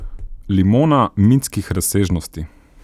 Limona mitskih razsežnosti.